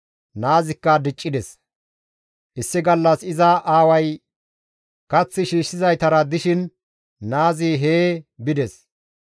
Naazikka diccides; issi gallas iza aaway kath shiishshizaytara dishin naazi hee bides.